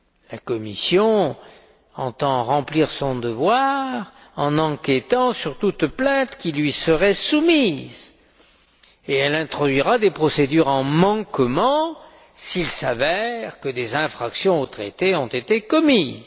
La Commission entend remplir son devoir en enquêtant sur toute plainte qui lui serait soumise, et elle introduira des procédures en manquement s'il s'avère que des infractions au traité ont été commises.